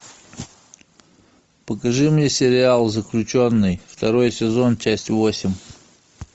покажи мне сериал заключенный второй сезон часть восемь